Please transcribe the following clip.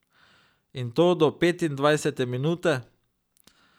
In to do petindvajsete minute!